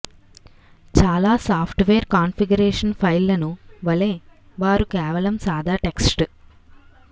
చాలా software configuration ఫైళ్లను వలె వారు కేవలం సాదా టెక్స్ట్